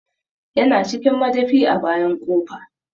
Ya na cikin madafi a bayan ƙofa